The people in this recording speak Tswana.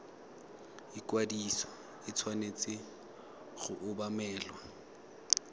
ikwadiso e tshwanetse go obamelwa